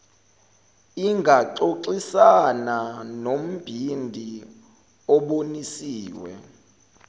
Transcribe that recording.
ingaxoxisana nombhidi obonisiwe